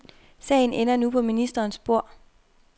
Sagen ender nu på ministerens bord.